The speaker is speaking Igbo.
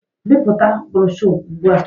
Bipụta broshọ ugbu a